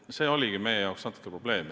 See oligi meie jaoks probleem.